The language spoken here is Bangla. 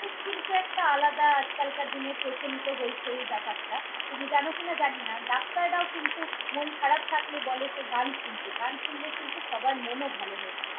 কিন্তু একটা আলাদা আজকালকার দিনে প্রচলিত হয়েছে এই ব্যাপারটা। তুমি জানো কিনা জানিনা, ডাক্তারও কিন্তু মন খারাপ থাকলে বলে কে গান শুনতে, গান শুনলে কিন্তু সবার মনও ভালো হয়ে যায়।